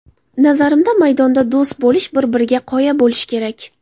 Nazarimda, maydonda do‘st bo‘lish, bir-biriga qoya bo‘lish kerak.